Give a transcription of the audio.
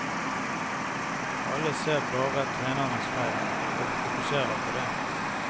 Alle ser bare trenerens feil og fokuserer på det.